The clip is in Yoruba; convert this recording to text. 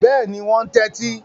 Bẹ́ẹ̀ni, wọn ń tẹ́tí.